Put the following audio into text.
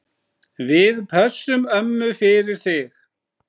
Við pössum ömmu fyrir þig.